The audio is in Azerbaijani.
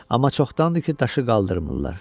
Amma çoxdandır ki, daşı qaldırmırlar.